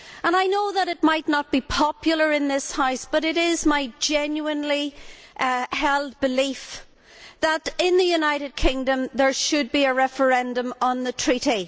I know that it might not be popular in this House, but it is my genuinely held belief that in the United Kingdom, there should be a referendum on the Treaty.